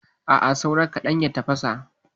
A'a, saura kaɗan ya tafasa.